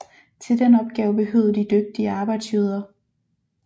Til den opgave behøvede de dygtige arbejdsjøder